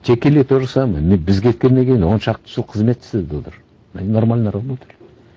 текели то же самое біз кеткеннен кейін он шақты жыл қызмет істеді олар они нормально работали